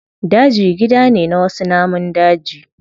Daji gida ne na wasu namun daji.